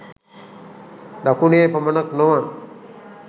දකුණේ පමණක් නොව